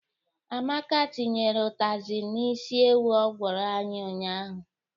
Amaka tinyere ụtazị n'isi ewu ọ gwọrọ anyị ụnyaahụ.